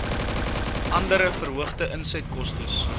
andere verhoogde insetkostes